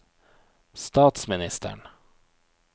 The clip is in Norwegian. statsministeren